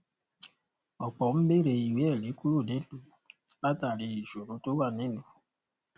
ọpọ n beere ìwé ẹrí kúrò nílùú látàrí ìṣòro tó wà nílùú